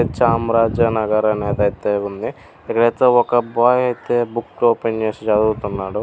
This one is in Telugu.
చామ్రాజనగర్ అనేదైతే ఉంది. ఒకబ్బాయి అయితే బుక్ ఓపెన్ చేసి చదువుతున్నాడు.